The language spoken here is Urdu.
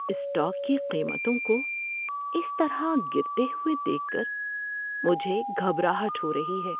اسٹاک کی قیمتوں کو اس طرح گرتے ہوئے دیکھ کر مجھے گھبراہٹ ہو رہی ہے۔